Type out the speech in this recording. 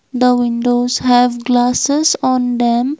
the windows have glasses on them.